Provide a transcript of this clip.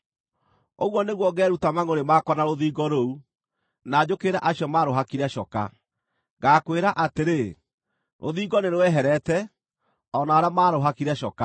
Ũguo nĩguo ngeeruta mangʼũrĩ makwa na rũthingo rũu, na njũkĩrĩre acio maarũhakire coka. Ngaakwĩra atĩrĩ, “Rũthingo nĩ rweherete, o na arĩa maarũhakire coka,